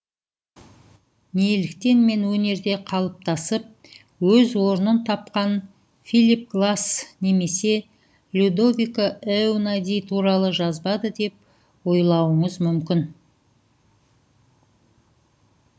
неліктен мен өнерде қалыптасып өз орнын тапқан филип гласс немесе людовико эунади туралы жазбады деп ойлуыңыз мүмкін